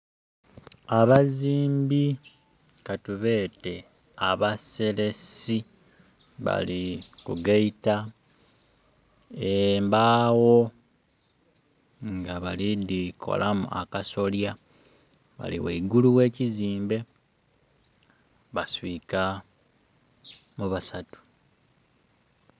Abazimbi katubeete abaseresi bali ku gaita embaawo nga bali dhikolamu akasolya ghale ghaigulu we kizimbe, baswika mu basatu.